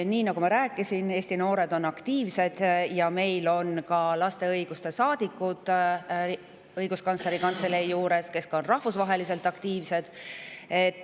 Nii nagu ma rääkisin, on Eesti noored aktiivsed ja meil on Õiguskantsleri Kantselei juures olemas laste õiguste saadikud, kes on ka rahvusvaheliselt aktiivsed.